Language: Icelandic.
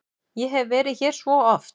Ég hef verið hér svo oft.